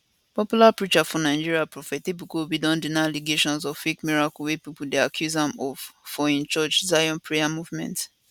popular preacher for nigeria prophet ebuka obi don deny allegations of fake miracle wey pipo dey accuse am of for im church zion prayer movement